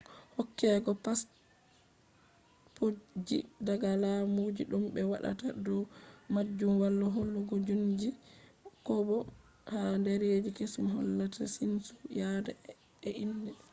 hokkego passpotji daga laamujii dum be waadataa dow maajum wala hoolugo jiinsu xkobo ha dereji kesum hollata jinnsu yaada e indee